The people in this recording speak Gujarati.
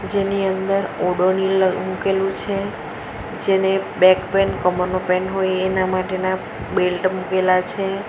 તેની અંદર ઓડોનીલ મૂકેલું છે જેને બેક પેન કમરનો પેન હોય એના માટેના બેલ્ટ મુકેલા છે.